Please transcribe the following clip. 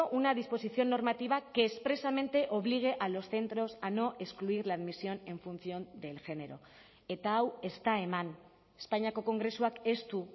una disposición normativa que expresamente obligue a los centros a no excluir la admisión en función del género eta hau ez da eman espainiako kongresuak ez du